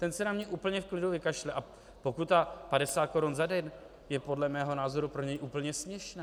Ten se na mě úplně v klidu vykašle a pokuta 50 korun za den je podle mého názoru pro něj úplně směšná.